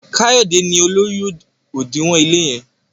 Kayode ní olórí odinwo ile yen.